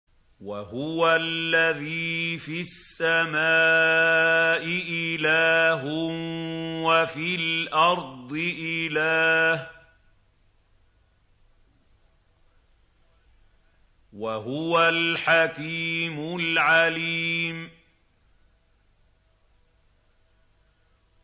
وَهُوَ الَّذِي فِي السَّمَاءِ إِلَٰهٌ وَفِي الْأَرْضِ إِلَٰهٌ ۚ وَهُوَ الْحَكِيمُ الْعَلِيمُ